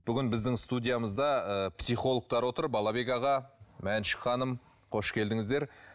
бүгін біздің студиямызда ы психологтар отыр балабек аға мәншүк ханым қош келдіңіздер